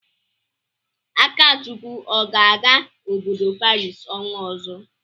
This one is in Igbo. Akachukwu ọ ga-aga obodo Paris ọnwa ọzọ?